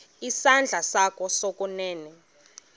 isandla sakho sokunene